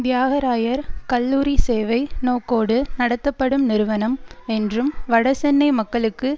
தியாகராயர் கல்லூரி சேவை நோக்கோடு நடத்தப்படும் நிறுவனம் என்றும் வடசென்னை மக்களுக்கு